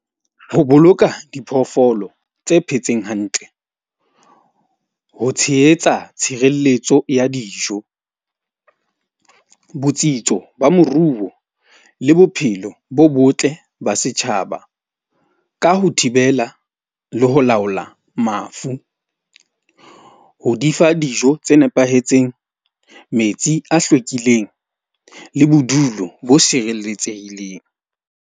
Ho boloka diphoofolo tse phetseng hantle, ho tshehetsa tshireletso ya dijo, botsitso ba moruo le bophelo bo botle ba setjhaba ka ho thibela le ho laola mafu, o di fa dijo tse nepahetseng. Metsi a hlwekileng le bodulo bo sireletsehileng.